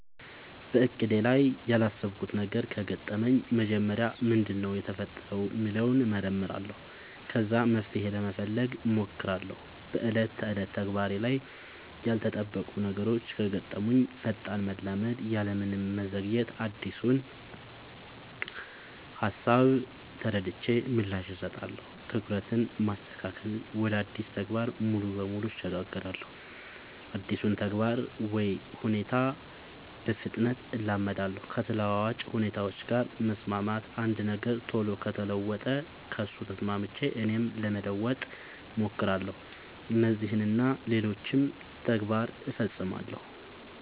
በእቅዴ ላይ ያላሰብኩት ነገር ከገጠመኝ መጀመሪያ ምንድነው የተፈጠረው ሚለውን እመረምራለሁ ከዛ መፍትሄ ለመፈለግ ሞክራለው በ ዕለት ተዕለት ተግባሬ ላይ ያልተጠበቁ ነገሮች ከገጠሙኝ ፈጣን መላመድ ያለምንም መዘግየት አዲሱን ሃሳብ ተረድቼ ምላሽ እሰጣለሁ። ትኩረትን ማስተካከል ወደ አዲሱ ተግባር ሙሉ በሙሉ እሸጋገራለሁ አዲሱን ተግባር ወይ ሁኔታ በፍጥነት እላመዳለው። ከተለዋዋጭ ሁኔታዎች ጋር መስማማት አንድ ነገር ቶሎ ከተለወጠ ከሱ ተስማምቼ እኔም ለመለወጥ ሞክራለው። እነዚህን እና ሌሎችም ተግባር ፈፅማለው።